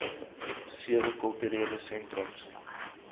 sewe kulturele sentrums